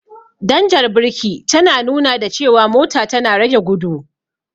Danjar birki ta nuna da cewa mota tana rage gudu.